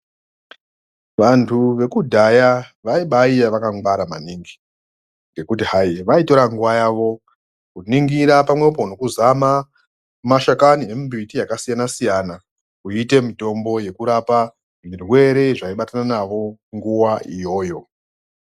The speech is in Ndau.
Vantu veku dhaya vaiba iya vaka ngwara maningi ngekuti hai vaitora nguva yavo ku ningira pamwepo neku zama mashakani e mbiti aka siyana siyana kuyi ite mutombo yeku rapa zvirwere zvai batana navo nguva iyoyo.